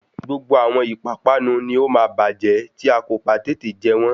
Gbogbo àwọn ìpápánu ni ó máa bájẹ́ tí a kò bá tètè jẹ wọ́n